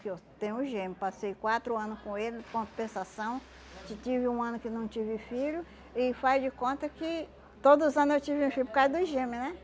Que eu tenho gêmeo, passei quatro anos com ele, em compensação, tive um ano que eu não tive filho, e faz de conta que todos os ano eu tive filho por causa dos gêmeo, né?